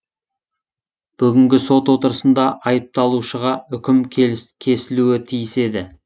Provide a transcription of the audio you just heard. бүгінгі сот отырысында айыпталушыға үкім кесілуі тиіс еді